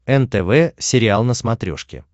нтв сериал на смотрешке